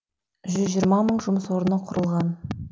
жүз жиырма мың жұмыс орны құрылған